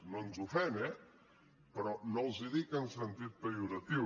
no ens ofèn eh però no els ho dic en sentit pejoratiu